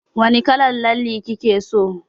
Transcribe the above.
Wani kalar lalle kike so?